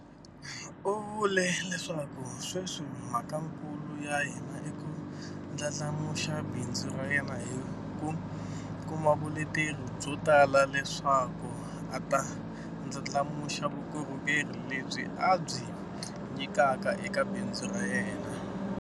U vule leswaku sweswi mhakakulu ya yena i ku ndlandlamuxa bindzu ra yena hi ku kuma vuleteri byo tala leswaku a ta ndlandlamuxa vukorhokerhi lebyi a byi nyikaka eka bindzu ra yena.